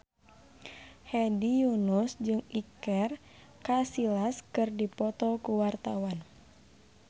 Hedi Yunus jeung Iker Casillas keur dipoto ku wartawan